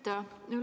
Aitäh!